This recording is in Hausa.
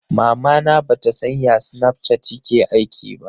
Mamana ba ta san ya snapchat yake aiki ba